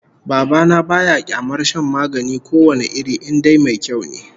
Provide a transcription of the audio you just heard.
Baba na ba ya kyamar shan magani ko wane iri in dai mai kyau ne